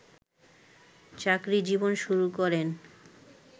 চাকরিজীবন শুরু করেন